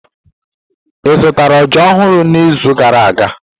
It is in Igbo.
Ị zụtara ọjà ọhụrụ n'izu gara aga?